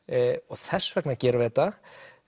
þess vegna gerum við þetta